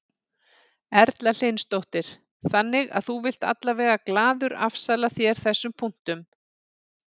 Erla Hlynsdóttir: Þannig að þú vilt allavega glaður afsala þér þessum punktum?